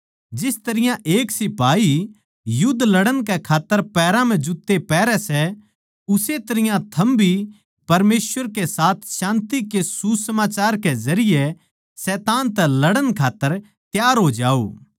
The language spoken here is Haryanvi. जिस तरियां एक सिपाही युध्द लड़ण कै खात्तर पैरां म्ह जुत्ते पैहरै सै उस्से तरियां थम भी परमेसवर के साथ शान्ति के सुसमाचार के जरिये शैतान तै लड़ण खात्तर त्यार हो जाओ